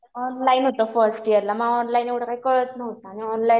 Online होतं first ईयरला. मग ऑनलाईन एवढं काही कळत नव्हतं. आणि ऑनलाईन एवढं